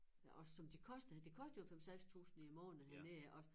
Også som det koster det koster jo en 5 600 i æ måned hernede også